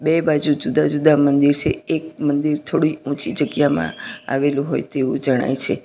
બે બાજુ જુદા જુદા મંદિર છે એક મંદિર થોડી ઊંચી જગ્યામાં આવેલું હોય તેવું જણાય છે.